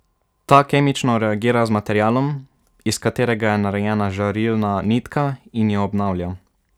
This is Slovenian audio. Ta kemično reagira z materialom, iz katerega je narejena žarilna nitka, in jo obnavlja.